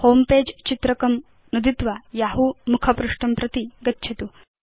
homepage चित्रकं नुदित्वा यहू मुखपृष्ठं प्रति गच्छतु